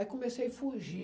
Aí comecei a fugir.